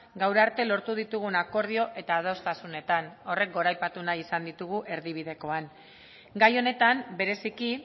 gaur arte lortu ditugun akordio eta adostasunetan horrek goraipatu nahi izan ditugu erdibidekoan gai honetan bereziki